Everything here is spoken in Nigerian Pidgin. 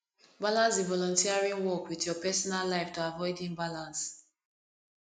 balance di volunteering work with your personal life to avoid imbalance